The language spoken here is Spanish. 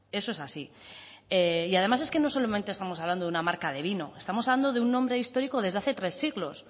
eso es así además es que no solamente estamos hablando de una marca de vino estamos hablando de un nombre histórico desde hace tres siglos